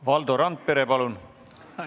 Valdo Randpere, palun!